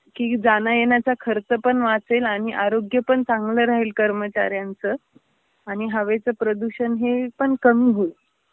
की, जाणयेण्याचा खर्चपण वाचेल आणि आरोग्यपण चांगलं राहील कर्मचार्यांच आणि हवेच प्रदूषण हे पण कमी होईल.